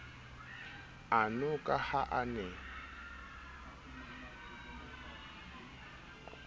ano ka ha a ne